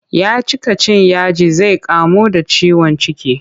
Ya cika cin yaji zai iya kamuwa da ciwon ciki.